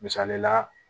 Misali la